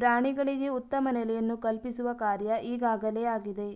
ಪ್ರಾಣಿಗಳಿಗೆ ಉತ್ತಮ ನೆಲೆಯನ್ನು ಕಲ್ಪಿಸುವ ಕಾರ್ಯ ಈಗಾಗಲೇ ಆಗಿದೆ